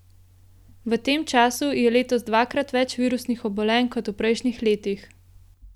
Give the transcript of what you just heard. V tem času je letos dvakrat več virusnih obolenj kot v prejšnjih letih.